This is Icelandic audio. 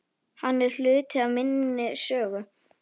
Hann er hluti af minni sögu.